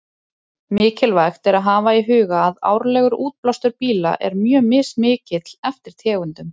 Mikilvægt er að hafa í huga að árlegur útblástur bíla er mjög mismikill eftir tegundum.